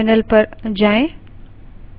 terminal पर जाएँ